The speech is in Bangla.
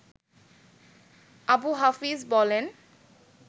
আবু হাফিজ বলেন